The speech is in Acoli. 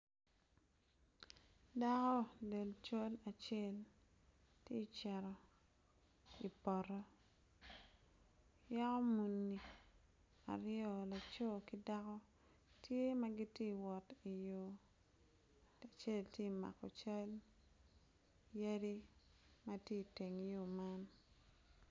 Dako delcol acel ti ceto ipoto yaku muni aryo laco ki dako tye ma giti wot i yo acel ti mako cal yadi ma tye iteng yo man